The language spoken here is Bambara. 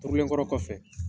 Turulenkɔrɔ kɔfɛ